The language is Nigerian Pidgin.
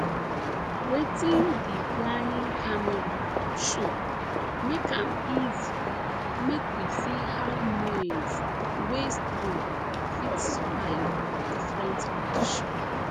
wetin di flying camera show make am easy make we see how maize wey strong fit survive different conditions